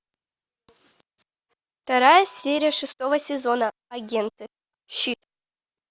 вторая серия шестого сезона агенты щит